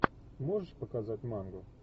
можешь показать мангу